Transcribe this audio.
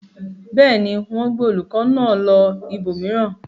Bẹ́ẹ̀ ni, wọ́n gbé olùkọ́ náà lọ ibòmíràn.